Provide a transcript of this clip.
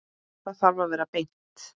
Það þarf að vera beint.